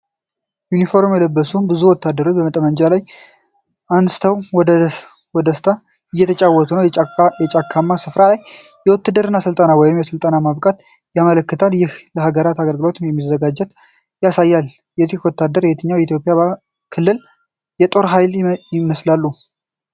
ዩኒፎርም የለበሱ ብዙ ወታደሮች ጠመንጃቸውን ወደ ላይ አንስተው በደስታ እየተጨዋወቱ ነው። የጫካማ ስፍራ ላይ የውትድርና ሰልፍ ወይም ስልጠና ማብቃት ያመለክታል፤ ይህም ለሀገራቸው አገልግሎት መዘጋጀታቸውን ያሳያል። እነዚህ ወታደሮች የየትኛውን የኢትዮጵያ ክልል የጦር ኃይል ይወክላሉ?